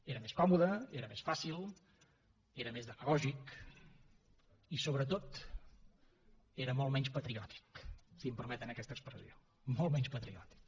era més còmode era més fàcil era més demagògic i sobretot era molt menys patriòtic si em permeten aquesta expressió molt menys patriòtic